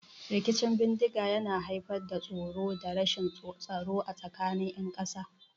Rikicin bindiga yana haifar da tsoro da rashin tsaro a tsakanin ƴan ƙasa.